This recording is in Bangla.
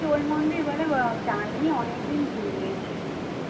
ওই মন্দির বলে যায়নি অনেকদিন ভুলে গেছি